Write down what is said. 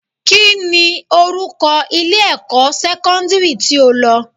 Kíni orúkọ ilé-ẹ̀kọ́ sẹ́kọ́ndírì tí o lọ?